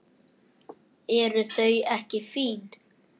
Eru þau ekki fín?